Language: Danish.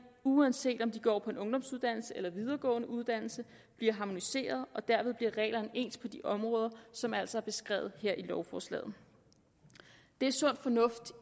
uanset om de går på en ungdomsuddannelse eller en videregående uddannelse bliver harmoniseret og derved bliver reglerne ens på de områder som altså er beskrevet her i lovforslaget det er sund fornuft